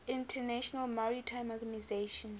international maritime organization